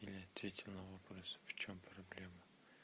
ответьте на вопрос в чем проблема